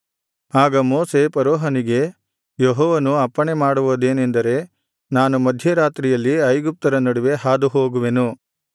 ಆಗ ಮೋಶೆ ಫರೋಹನಿಗೆ ಯೆಹೋವನು ಅಪ್ಪಣೆಮಾಡುವುದೇನೆಂದರೆ ನಾನು ಮಧ್ಯರಾತ್ರಿಯಲ್ಲಿ ಐಗುಪ್ತ್ಯರ ನಡುವೆ ಹಾದುಹೋಗುವೆನು